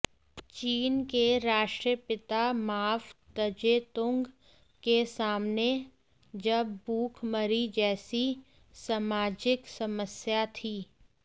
चीन के राश्ट्रपिता माव त्जे तुंग के सामने जब भूखमरी जैसी सामाजिक समस्या थी